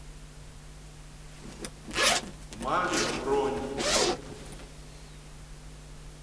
мави бронь